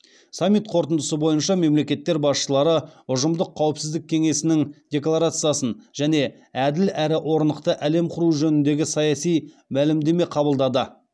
саммит қорытындысы бойынша мемлекеттер басшылары ұжымдық қауіпсіздік кеңесінің декларациясын және әділ әрі орнықты әлем құру жөнінде саяси мәлімдеме қабылдады